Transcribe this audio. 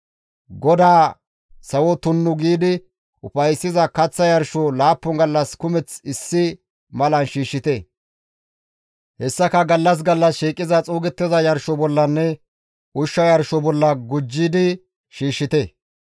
GODAA sawo tunnu giidi ufayssiza kaththa yarsho laappun gallas kumeth issi malan shiishshite; hessaka gallas gallas shiiqiza xuugettiza yarsho bollanne ushsha yarsho bolla gujjidi shiishshite.